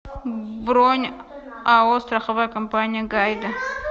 бронь ао страховая компания гайде